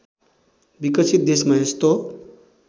विकसित देशमा यस्तो